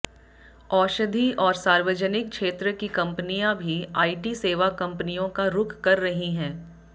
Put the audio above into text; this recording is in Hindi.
औषधि और सार्वजनिक क्षेत्र की कंपनियां भी आईटी सेवा कंपनियों का रुख कर रही हैं